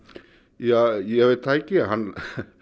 ja ég veit það ekki hann